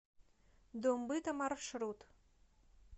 дом быта маршрут